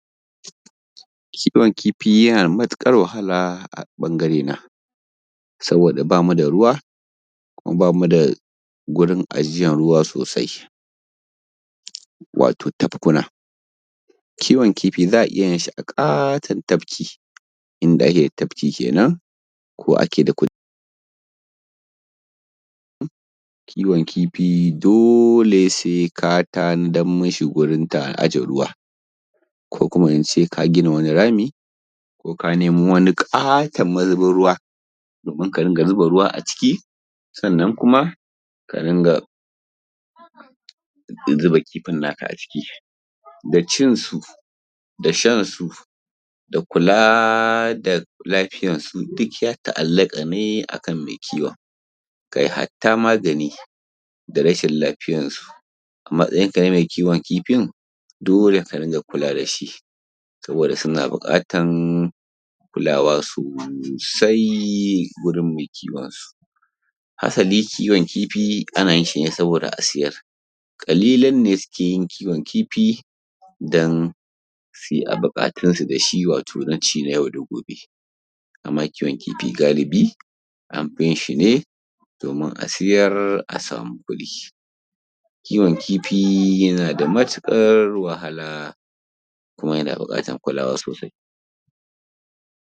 Kiwon kifi yana da matuƙar wahala a ɓangarena. Saboda ba mu da ruwa, kuma ba mu da gurin ajiyan ruwa sosai, wato tafkuna. Kiwon kifi za a iya yin shi a ƙaton tafki, inda ake da tafki kenan, ko ake da kududdufi. Kiwon kifi dole sai ka tanadam mishi gurin aje ruwa, ko kuma in ce ka gina wani rami, ko ka nemo wani ƙaton mazubin ruwa, domin ka dinga zuba ruwa a ciki. Sannan kuma, ka dinga zuba kifin naka a ciki. Da cinsu da shansu da kula da lafiyansu, duk ya ta’allaƙa ne a kan mai kiwon. Kai hatta magani da rashin lafiyansu a matsayinka na mai kiwon kifi, dole ka ringa kula da shi. Saboda suna buƙatan kulawa sosai wurin mai kiwonsu. Asali kiwon kifi ana yin shi ne saboda a siyar. Ƙalilan ne suke yin kiwon kifi dan su yi buƙatunsu na ci yau da gobe, amma kiwon kifi galibi, an fi yin shi ne, domin a siyar a sami kuɗi. Kiwon kifi na da matukar wahala, kuma yana buƙatan kulawa sosai.